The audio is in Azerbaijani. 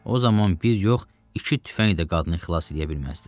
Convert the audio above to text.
O zaman bir yox, iki tüfəng də qadını xilas eləyə bilməzdi.